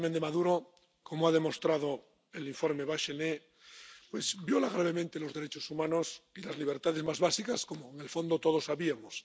El régimen de Maduro, como ha demostrado el informe Bachelet, viola gravemente los derechos humanos y las libertades más básicas, como, en el fondo, todos sabíamos.